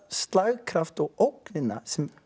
slagkraft og ógnina sem